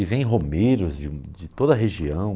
E vem romeiros de de toda a região.